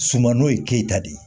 Sumano ye keyita de ye